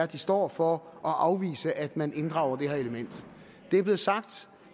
de står for og afvise at man inddrager det her element det er blevet sagt